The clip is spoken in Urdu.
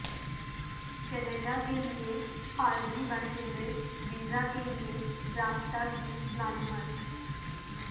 کینیڈا کے لئے عارضی باشندے ویزا کے لئے رابطہ کی معلومات